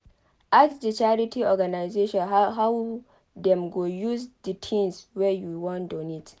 Ask di charity organisation how dem go use di things wey you wan donate